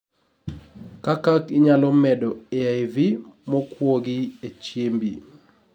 Kakak inyalo medo AIV mokuogi e chiembi